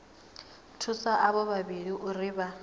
thusa avho vhavhili uri vha